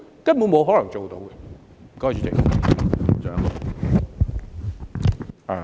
根本不可能做到的。